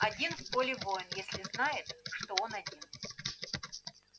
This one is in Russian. один в поле воин если знает что он один